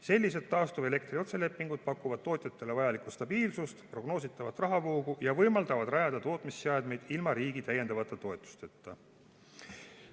Sellised taastuvelektri otselepingud pakuvad tootjatele vajalikku stabiilsust ja prognoositavat rahavoogu ning võimaldavad rajada tootmisseadmeid ilma riigi täiendavate toetusteta.